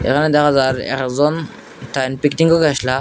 এখানে দেখা যায় একজন করতে আইসলা।